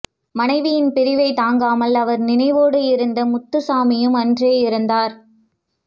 மனைவியின் பிரிவை தாங்காமல் அவர் நினைவோடு இருந்த முத்துசாமியும் அன்றே இறந்தார்